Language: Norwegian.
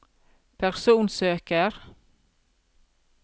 personsøker